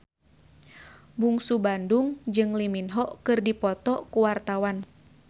Bungsu Bandung jeung Lee Min Ho keur dipoto ku wartawan